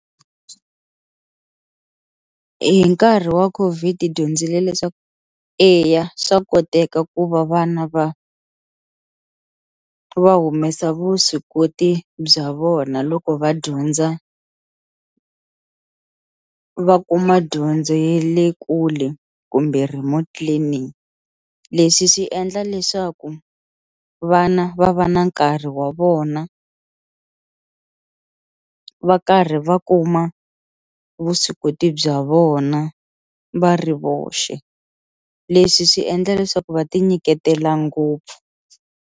Hi nkarhi wa COVID-i hi dyondzile leswaku eya swa koteka ku va vana va va humesa vuswikoti bya vona loko va dyondza va kuma dyondzo ye le kule kumbe remote learning, leswi swi endla leswaku vana va va na nkarhi wa vona va karhi va kuma vuswikoti bya vona va ri voxe leswi swi endla leswaku va ti nyiketela ngopfu.